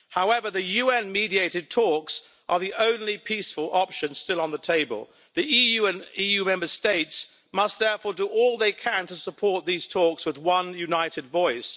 However, the UN mediated talks are the only peaceful options still on the table. The EU and EU Member States must therefore do all they can to support these talks with one united voice.